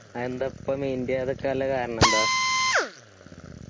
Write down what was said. അത് എന്തിപ്പോ mind ഇയ്യിയ്യതിക്കാണില്ല കാരണ എന്താ